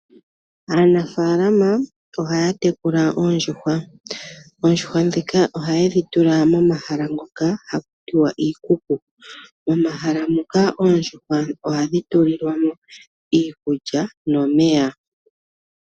Aanafalama ohaya tekula oondjuhwa. Haye dhi tekulile miikuku . Mono hayatula iikulya momeya.